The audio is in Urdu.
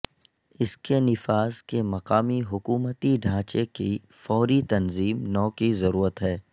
اس کے نفاذ کے مقامی حکومتی ڈھانچے کی فوری تنظیم نو کی ضرورت ہے